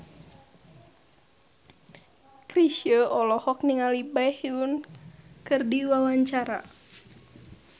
Chrisye olohok ningali Baekhyun keur diwawancara